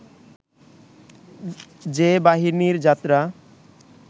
যে বাহিনীর যাত্রা